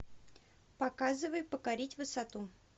показывай покорить высоту